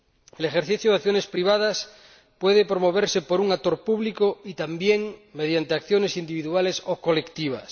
El ejercicio de acciones privadas puede promoverse por un actor público y también mediante acciones individuales o colectivas.